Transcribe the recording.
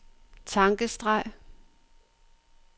tankestreg